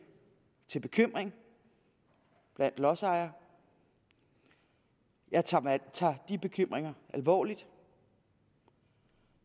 til bekymring blandt lodsejere jeg tager jeg tager de bekymringer alvorligt